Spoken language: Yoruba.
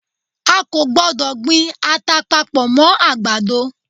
A kò gbọdọ̀ gbin ata papọ̀ mọ́ àgbàdo.